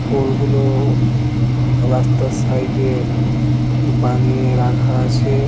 পোলগুলো রাস্তার সাইডে বানিয়ে রাখা আছে।